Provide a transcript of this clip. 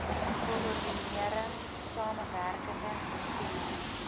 koördinering samewerkende bestuur